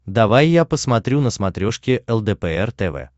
давай я посмотрю на смотрешке лдпр тв